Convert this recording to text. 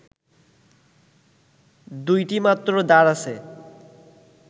দুইটি মাত্র দ্বার আছে